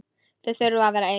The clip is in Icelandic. Þau þurfi að vera ein.